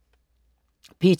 P2: